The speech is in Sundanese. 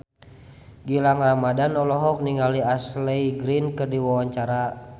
Gilang Ramadan olohok ningali Ashley Greene keur diwawancara